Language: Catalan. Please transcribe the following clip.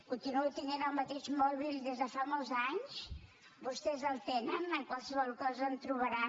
continuo tenint el mateix mòbil des de fa molts anys vostès el tenen per a qualsevol cosa em trobaran